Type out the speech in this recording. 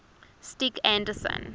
stig anderson